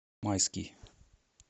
майский